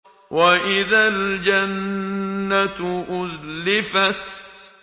وَإِذَا الْجَنَّةُ أُزْلِفَتْ